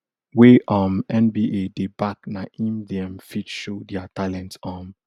wey um nba dey back na im dem fit show dia talents um